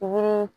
Olu